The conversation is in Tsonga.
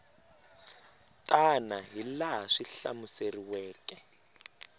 tana hi laha swi hlamuseriweke